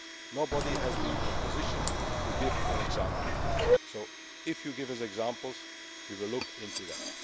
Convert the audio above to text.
Nobody has been able to give an example. If you give us examples, we will look into them.